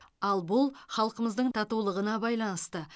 ал бұл халқымыздың татулығына байланысты